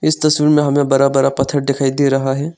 इस तस्वीर में हमें बड़ा बड़ा पत्थर दिखाई दे रहा है।